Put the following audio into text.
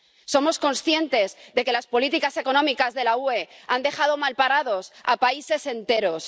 Somos conscientes de que las políticas económicas de la UE han dejado malparados a países enteros.